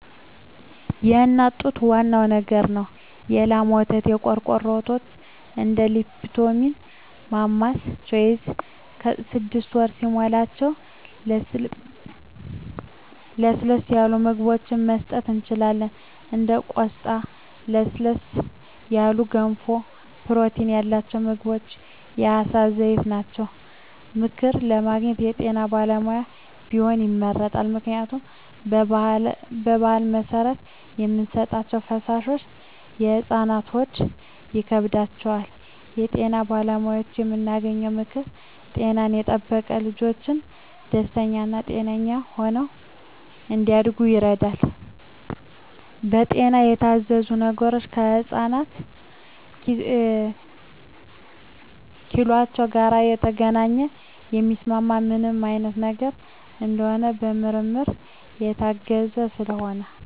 የእናት ጡት ዋናው ነገር ነው የላም ወተት , የቆርቆሮ ወተቶች እንደ ሊፕቶሚል ማማስ ቾይዥ ስድስት ወር ሲሞላቸው ለስለስ ያሉ ምግብችን መስጠት እንችላለን እንደ ቆስጣ ለስለስ ያሉ ገንፎ ፕሮቲን ያላቸው ምግቦች የአሳ ዘይት ናቸው። ምክር ለማግኘት ከጤና ባለሙያዎች ቢሆን ይመረጣል ምክንያቱም በባህል መሰረት የምንሰጣቸዉ ፈሳሾች ለህፃናት ሆድ ይከብዳቸዋል። ከጤና ባለሙያዎች የምናገኘው ምክር ጤናን የጠበቀ ልጅች ደስተኛ ጤነኛ ሆነው እንዳድጉ ያደርጋል። በጤና የታዘዙ ነገሮች ከህፃናት ኪሏቸው ጋር የተገናኘ የሚስማማቸው ምን አይነት ነገር እንደሆነ በምርመራ የታገዘ ስለሆነ